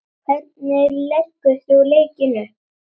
Hvernig leggur þú leikinn upp?